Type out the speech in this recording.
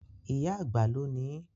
Ìyá àgbà ló nií.